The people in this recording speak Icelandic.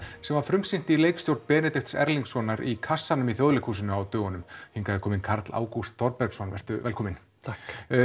sem var frumsýnt í leikstjórn Benedikts Erlingssonar í kassanum í Þjóðleikhúsinu á dögunum hingað er kominn Karl Ágúst Þorbergsson vertu velkominn takk